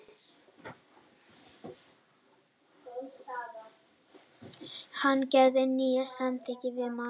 Hann gerði nýjan samning við Man.